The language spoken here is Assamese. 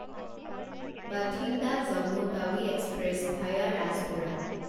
Bathinda Jammu Tawi express via Rajpura